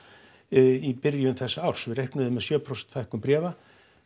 í byrjun þessa árs við reiknuðum með sjö prósent fækkun bréfa